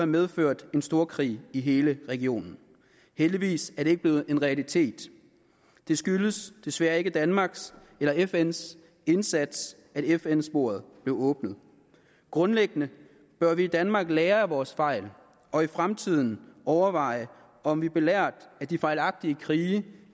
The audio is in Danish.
medført en storkrig i hele regionen heldigvis er det ikke blevet en realitet det skyldes desværre ikke danmarks eller fns indsats at fn sporet blev åbnet grundlæggende bør vi i danmark lære af vores fejl og i fremtiden overveje om vi belært af de fejlagtige krige